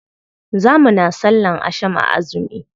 Za muna sallan asham a azumi.